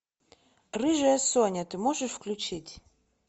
рыжая соня ты можешь включить